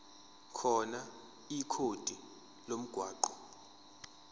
khona ikhodi lomgwaqo